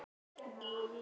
Jú, það gerði ég.